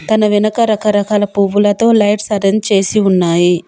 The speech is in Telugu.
తన వెనక రకరకాల పువ్వులతో లైట్స్ అరేంజ్ చేసి ఉన్నాయి.